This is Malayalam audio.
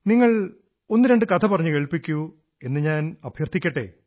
നിങ്ങൾ ഒന്നുരണ്ടു കഥ പറഞ്ഞു കേൾപ്പിക്കൂ എന്നു ഞാനഭ്യർഥിക്കട്ടേ